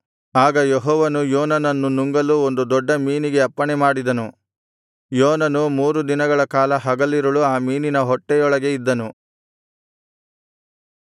ಆಗ ಯೆಹೋವನು ಯೋನನನ್ನು ನುಂಗಲು ಒಂದು ದೊಡ್ಡ ಮೀನಿಗೆ ಅಪ್ಪಣೆ ಮಾಡಿದನು ಯೋನನು ಮೂರು ದಿನಗಳ ಕಾಲ ಹಗಲಿರುಳು ಆ ಮೀನಿನ ಹೊಟ್ಟೆಯೊಳಗೆ ಇದ್ದನು